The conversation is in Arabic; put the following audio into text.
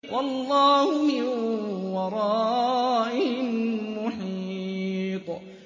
وَاللَّهُ مِن وَرَائِهِم مُّحِيطٌ